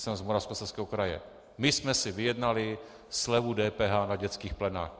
Jsem z Moravskoslezského kraje, my jsme si vyjednali slevu DPH na dětských plenách.